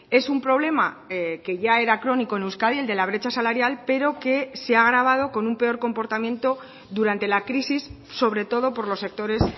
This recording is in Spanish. es un problema que ya era crónico en euskadi el de la brecha salarial pero que se ha agravado con un peor comportamiento durante la crisis sobre todo por los sectores